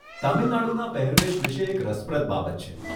તમિલ નાડુના પહેરવેશ વિષે એક રસપ્રદ બાબત છે.